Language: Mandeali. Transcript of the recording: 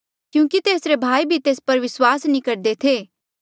क्यूंकि तेसरे भाई भी तेस पर विस्वास नी करदे थे